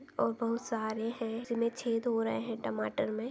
--और बहुत सारे है जिन्हे छेद हो रहे है टमाटर मे--